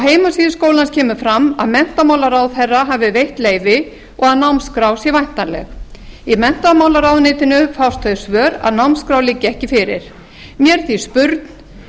heimasíðu skólans kemur fram að menntamálaráðherra hafi veitt leyfi og að námskrá sé væntanleg í menntamálaráðuneytinu fást þau svör að námskrá liggi ekki fyrir mér er því spurn